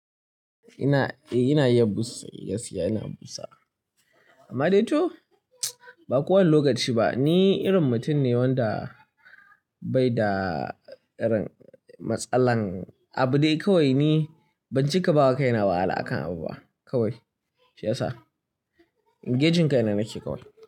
Ina, eh ina iya busa, eh gaskiya ina busa. Amma dai to, ba kowane lokaci ba. Ni irin mutum ne wanda bai da irin matsalan, abu dai kawai ni banci ka bawa kaina wahala akan abu ba kawai. Shiyasa? Engaging kai na nake kawai.